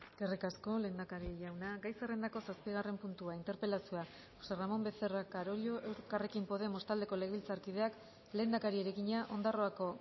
eskerrik asko lehendakari jauna gai zerrendako zazpigarren puntua interpelazioa josé ramón becerra carollo elkarrekin podemos taldeko legebiltzarkideak lehendakariari egina ondarroako